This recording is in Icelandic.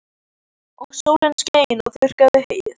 Og sólin skein og þurrkaði heyið.